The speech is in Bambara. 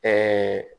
Ɛɛ